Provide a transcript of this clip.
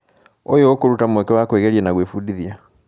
ũyũ ũkũruta mweke wa kwĩgeria na gwĩbundithia.